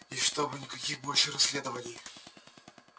и чтобы никаких больше расследований